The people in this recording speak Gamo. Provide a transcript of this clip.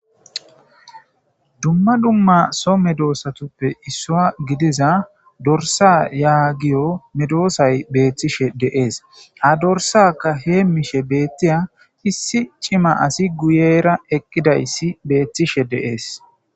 Dumma dumma so medosatuppe issuwa gidiza dorsa geyo medosy bettishe de'es. Ha dorsakka hemishe bettiya issi c'ima asiy guyera eqidays bettishe de'es